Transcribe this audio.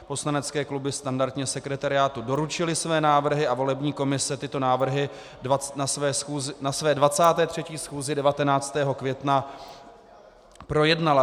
Poslanecké kluby standardně sekretariátu doručily své návrhy a volební komise tyto návrhy na své 23. schůzi 19. května projednala.